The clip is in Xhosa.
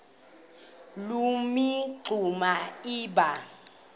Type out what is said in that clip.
loo mingxuma iba